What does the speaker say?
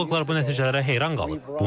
Arxeoloqlar bu nəticələrə heyran qalıb.